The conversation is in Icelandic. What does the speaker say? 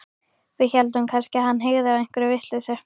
Við héldum kannski að hann hygði á einhverja vitleysu.